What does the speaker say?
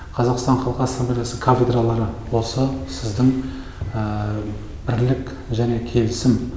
қазақстан халық ассамблеясы кафедралары осы сіздің бірлік және келісім